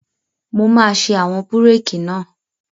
Mo máa ṣe àwọn búrèkì náà